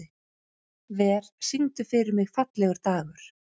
Ver, syngdu fyrir mig „Fallegur dagur“.